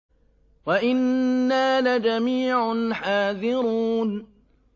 وَإِنَّا لَجَمِيعٌ حَاذِرُونَ